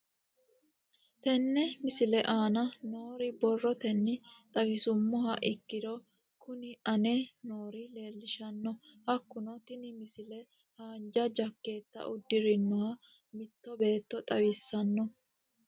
Tenne misile aana noore borrotenni xawisummoha ikirro kunni aane noore leelishano. Hakunno tinni misile haanja jakeetta uddirinoha mitto beeto xawissanno.